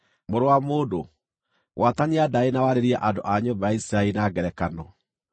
“Mũrũ wa mũndũ, gwatania ndaĩ na warĩrie andũ a nyũmba ya Isiraeli na ngerekano.